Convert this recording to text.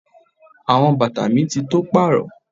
Àwọn bàtà mi ti tó pàrọ.